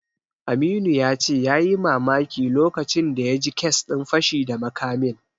Aminu ya ce yayi mamaki lokacin da ya ji kes din fashi da makamin.